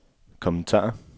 kommentar